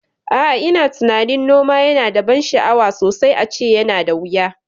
A'a, ina tunanin noma yana da ban sha'awa sosai ace yana da wuya